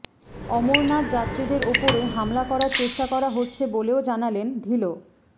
অমরনাথ যাত্রীদের ওপরে হামলা করার চেষ্টা করা হচ্ছে বলেও জানালেন ধিঁলো